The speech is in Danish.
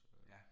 Ja